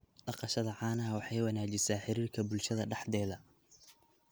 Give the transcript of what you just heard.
Dhaqashada caanaha waxay wanaajisaa xiriirka bulshada dhexdeeda.